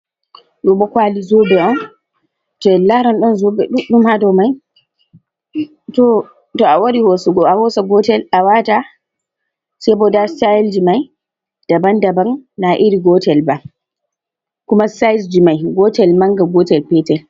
Ɗo bo kwali zobe on, to en laran ɗon zobe ɗuɗɗum ha ha dou mai, to, to a wari hosugo a hosa gotel awata sei bo nda style ji mai daban daban na iri gotel ba, kuma size mai gotel manga, gotel petel.